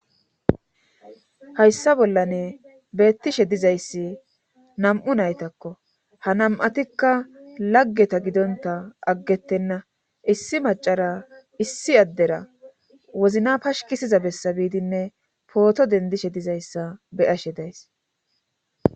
hayssa bollane beettishe dizayssi nam7u naytakko ha nam7atikka laggeta gidonta aggettenna issi macara issi addera wozina pashkisiza bessa biidinne pooto dendishe dizayssa beyashe days